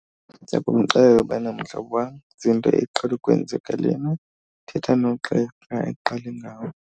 Ndiza kumxelela ubana mhlobo wam ziinto eqhele ukwenzeka lena, thetha nogqirha aqale ngawe.